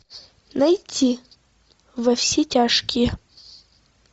найти во все тяжкие